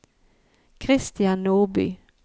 Christian Nordby